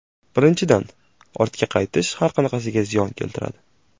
Birinchidan, ortga qaytish har qanaqasiga ziyon keltiradi.